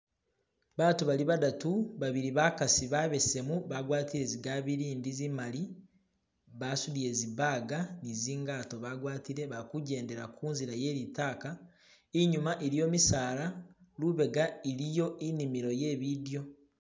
batu bali badatu babili bakasi babesemu bagwatile zigabilindi zimali basudile zibaga nizingato bagwatile balikujendela kunzila yelitaka inyuma iliyo misaala lubega iliyo inimilo yebidyo